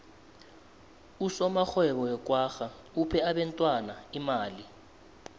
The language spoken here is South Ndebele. usomarhwebo wekwagga uphe abentwana imali